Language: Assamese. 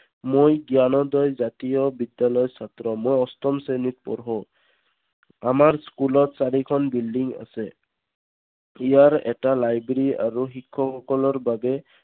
মই জ্ঞানদৰ জাতীয় বিদ্যালয়ৰ ছাত্ৰ মই অষ্ঠম শ্ৰেণীত পঢ়ো। আমাৰ school ত চাৰিখন building আছে। ইয়াৰ এটা library আৰু শিক্ষক সকলৰ বাবে